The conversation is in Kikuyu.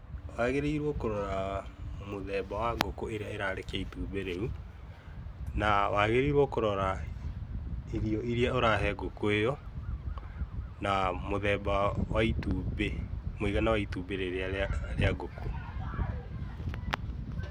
Wagĩrero kũrora mũthemba wa gũkũ ĩrĩa ĩrarekea ĩtũmbĩ rĩu, na wagĩrĩirwo kũrora irio iria ũrahe gũkũ ĩyo. Na mũtheba wa itumbĩ, muigana wa itumbĩ rĩrĩa rĩa gũkũ.